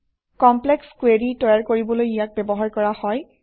complex query তৈয়াৰ কৰিবলৈ ইয়াক ব্যৱহাৰ কৰা হয়